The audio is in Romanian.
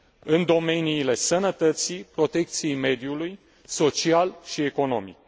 în domeniile sănătății, protecției mediului, social și economic.